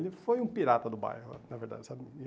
Ele foi um pirata do bairro, ah na verdade, sabe?